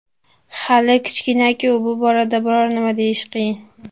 Hali kichkina-ku, bu borada biror nima deyish qiyin.